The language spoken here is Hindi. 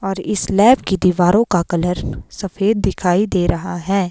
और इस लैब के दीवारो का कलर सफेद दिखाई दे रहा है।